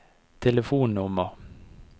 telefonnummer